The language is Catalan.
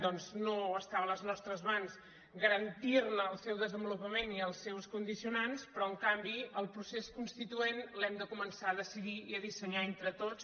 doncs no estava a les nostres mans garantir·ne el seu desenvolupament i els seus condicionants però en canvi el procés constituent l’hem de començar a deci·dir i a dissenyar entre tots